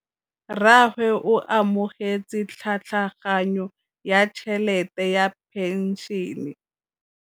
Rragwe o amogetse tlhatlhaganyô ya tšhelête ya phenšene.